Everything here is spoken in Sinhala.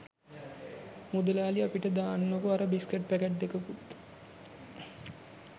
මුදලාලි අපිට දාන්නකෝ අර බිස්කට් පැකට් දෙකකුත්